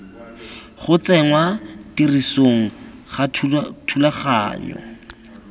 go tsenngwa tirisong ga thulaganyo